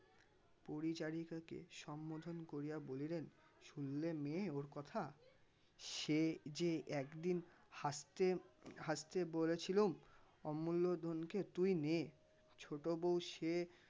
পরিচারিকাকে সম্বোধন করিয়া বলিলেন শুনলে মেয়ে ওর কথা সেই যে একদিন হাসতে হাসতে বলেছিলুম অমুল্য ধনকে তুই নে ছোটো বউ সে